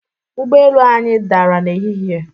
Ụgbo elu anyị dara n'ehihie.